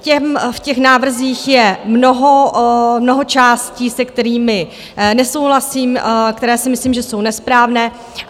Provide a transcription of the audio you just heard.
V těch návrzích je mnoho částí, se kterými nesouhlasím, které si myslím, že jsou nesprávné.